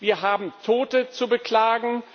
Wir haben Tote zu beklagen.